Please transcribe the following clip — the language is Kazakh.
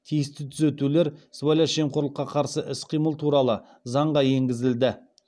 тиісті түзетулер сыбайлас жемқорлыққа қарсы іс қимыл туралы заңға енгізілді